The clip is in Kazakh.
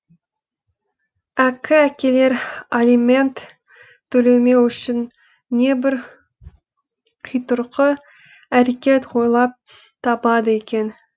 әккі әкелер алимент төлемеу үшін небір қитұрқы әрекет ойлап табады екен